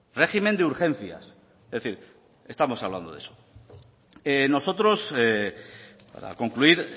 régimen de urgencias es decir estamos hablando de eso nosotros para concluir